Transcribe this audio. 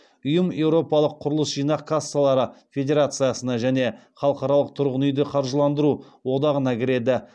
ұйым еуропалық құрылыс жинақ кассалары федерациясына және халықаралық тұрғын үйді қаржыландыру одағына кіреді